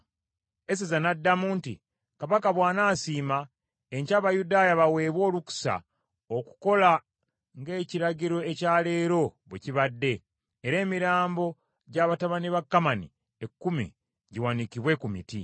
Eseza n’addamu nti, “Kabaka bw’anaasiima, enkya Abayudaaya baweebwe olukusa okukola nga ekiragiro ekya leero bwe kibadde era emirambo gya batabani ba Kamani ekkumi giwanikibwe ku miti.”